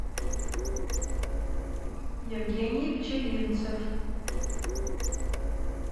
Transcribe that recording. евгений пчелинцев